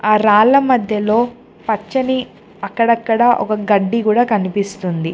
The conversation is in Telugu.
ఆ రాళ్ల మధ్యలో పచ్చని అక్కడక్కడ ఒక గడ్డి కూడా కనిపిస్తుంది.